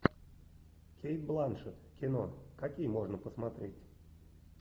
кейт бланшетт кино какие можно посмотреть